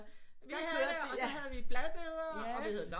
Der kørte det og så have vi bladbeder og vi havde løg